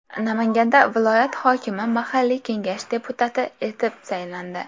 Namanganda viloyat hokimi mahalliy kengash deputati etib saylandi.